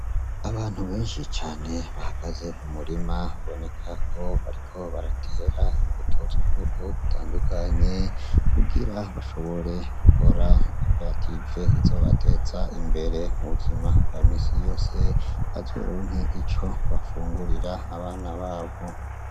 Abantu benshi cane bahagaze mu murima, biboneka ko bariko baratera imbuto z'ubwoko butandukanye kugira bashobore gukora koperative izobateza imbere mu buzima ba misi yose, bazoronke ico bafungurira abana babo.